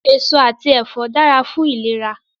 Èso àti ẹ̀fọ́ dára fún ìlera